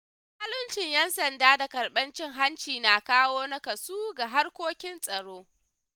Zaluncin ‘yan sanda da karɓar cin hanci na kawo naƙasu ga harkokin tsaro.